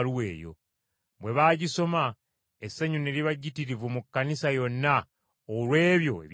Bwe baagisoma, essanyu ne liba jjitirivu mu Kkanisa yonna olw’ebyo ebyagirimu.